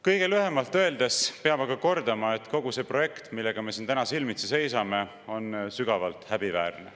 Kõige lühemalt öeldes peab aga kordama, et kogu see projekt, millega me siin täna silmitsi seisame, on sügavalt häbiväärne.